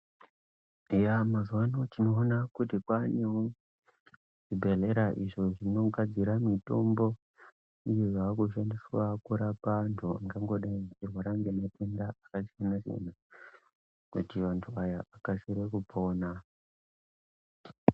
Eya mazuvano tinoonawo kuti kwanewo zvibhedhlera izvo zvinogadzra mitombo iyi yakushandiswa kurapa antu akangodai eirwara ngematenda akasiyana siyana kuti antu aya akasire kupona .